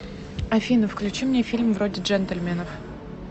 афина включи мне фильм вроде джентельменов